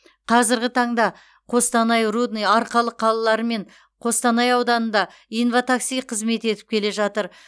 қазіргі таңда қостанай рудный арқалық қалалары мен қостанай ауданында инва такси қызмет етіп келе жатыр